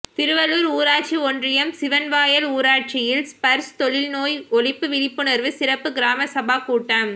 திருவள்ளுர் ஊராட்சி ஒன்றியம் சிவன்வாயல் ஊராட்சியில் ஸ்பர்ஷ் தொழுநோய் ஒழிப்பு விழிப்புணர்வு சிறப்பு கிராம சபா கூட்டம்